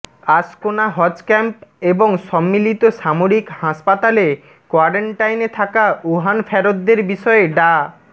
আশকোনা হজক্যাম্প এবং সম্মিলিত সামরিক হাসপাতালে কোয়ারেনটাইনে থাকা উহান ফেরতদের বিষয়ে ডা